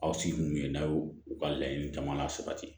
Aw sigi kun ye law u ka laɲini caman la sabati